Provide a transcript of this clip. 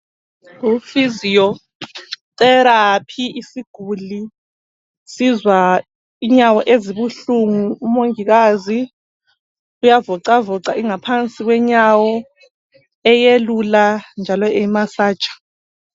Kufiziyo therapy isiguli sizwa inyawo ezibuhlungu umongikazi uyavocavoca ingaphansi yenyawo eyelula njalo emasaja.